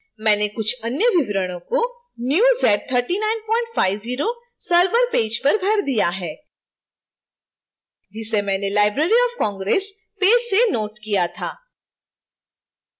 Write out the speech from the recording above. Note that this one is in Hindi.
मैंने कुछ अन्य विवरणों को new z3950 server पेज पर भर दिया है जिसे मैंने library of congress पेज से नोट किया था